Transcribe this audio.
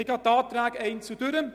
Ich gehe die Anträge einzeln durch: